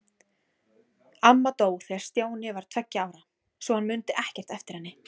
Amma dó þegar Stjáni var tveggja ára, svo hann mundi ekkert eftir henni.